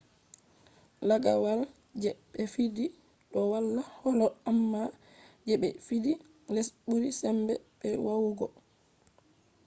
lagawal je be fidi do wala holo amma je be fidi les buri sembe be yawugo